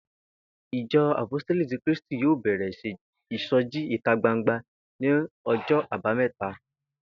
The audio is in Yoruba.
Ìjo̩ Àpóstélì ti Krístì yóò bè̩rè̩ ìso̩jí ìta gbangba ní o̩jó̩ Àbámé̩ta